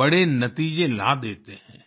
बड़े नतीजे ला देते हैं